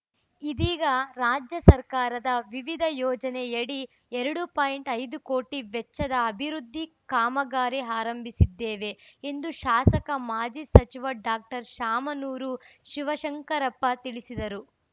ಇದೀಗ ರಾಜ್ಯ ಸರ್ಕಾರದ ವಿವಿಧ ಯೋಜನೆಯಡಿ ಎರಡು ಪಾಯಿಂಟ್ ಐದು ಕೋಟಿ ವೆಚ್ಚದ ಅಭಿವೃದ್ಧಿ ಕಾಮಗಾರಿ ಆರಂಭಿಸಿದ್ದೇವೆ ಎಂದು ಶಾಸಕ ಮಾಜಿ ಸಚಿವ ಡಾಕ್ಟರ್ ಶಾಮನೂರು ಶಿವಶಂಕರಪ್ಪ ತಿಳಿಸಿದರು